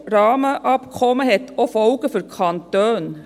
Das EU-Rahmenabkommen hat auch Folgen für die Kantone.